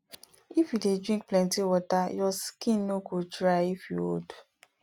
if you dey drink plenty water your skin no go dry if you old